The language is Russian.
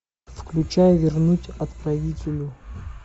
включай вернуть отправителю